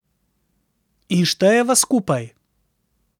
In štejeva skupaj.